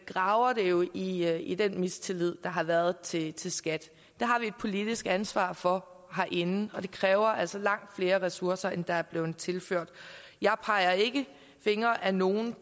graver det jo i jo i den mistillid der har været til til skat det har vi et politisk ansvar for herinde og det kræver altså langt flere ressourcer end der er blevet tilført jeg peger ikke fingre ad nogen